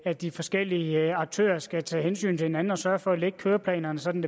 at de forskellige aktører skal tage hensyn til hinanden og sørge for at lægge køreplanerne sådan